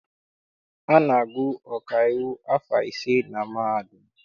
A na-agụ ọkaiwu afọ ise na mahadum.